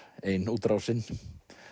ein útrásin